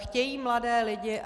Chtějí mladé lidi.